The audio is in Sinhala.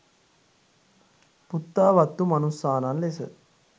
පුත්තා වත්ථු මනුස්සානං ලෙස